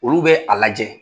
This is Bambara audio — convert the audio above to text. Olu bɛ a lajɛ.